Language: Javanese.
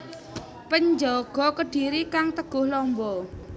Penjaga Kedhiri kang teguh lamba